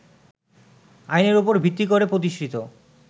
আইনের উপর ভিত্তি করে প্রতিষ্ঠিত